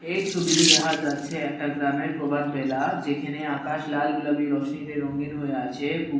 এই ছবিতে দেখা যাচ্ছে একটা গ্রামের প্রভাত বেলা যেইখানে আকাশ লাল গুলাবী রশ্মীতে রঙ্গিন হয়ে আছে পুকু --